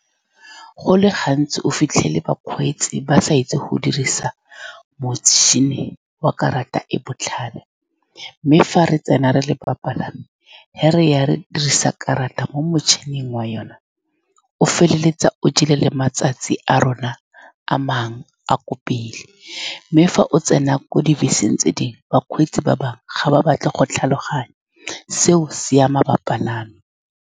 Go le gantsi o fitlhele bakgweetsi ba sa itse go dirisa motšhini wa karata e e botlhale, mme fa re tsena re le bapalami, ga re ya re dirisa karata mo motšhining wa yone, o feleletsa o jele le matsatsi a rona a mangwe a a ko pele, mme fa o tsena ko dibeseng tse dingwe, bakgweetsi ba bangwe ga ba batle go tlhaloganya seo. Se ama bapalami.